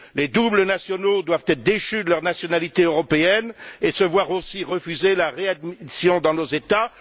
Les binationaux doivent être déchus de leur nationalité européenne et se voir aussi refuser la réadmission dans nos États.